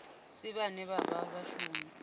si vhane vha vha vhashumi